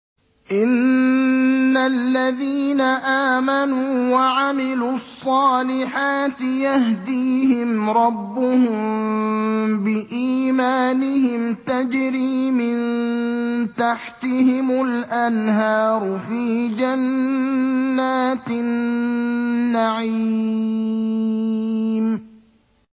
إِنَّ الَّذِينَ آمَنُوا وَعَمِلُوا الصَّالِحَاتِ يَهْدِيهِمْ رَبُّهُم بِإِيمَانِهِمْ ۖ تَجْرِي مِن تَحْتِهِمُ الْأَنْهَارُ فِي جَنَّاتِ النَّعِيمِ